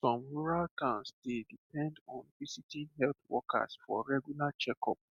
some rural towns dey depend on visiting health workers for regular checkup